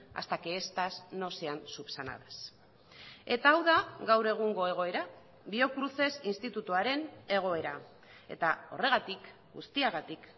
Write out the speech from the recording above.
hasta que estas no sean subsanadas eta hau da gaur egungo egoera biocruces institutuaren egoera eta horregatik guztiagatik